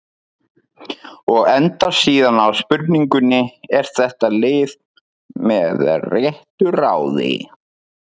Og endar síðan á spurningunni: Er þetta lið með réttu ráði?